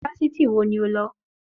Yunifásítì wo ni o lọ?